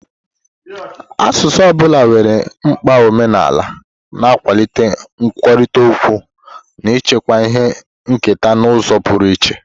Asụsụ ọ bụla nwere mkpa omenala, na-akwalite nkwurịta okwu na ichekwa ihe nketa n'ụzọ pụrụ iche.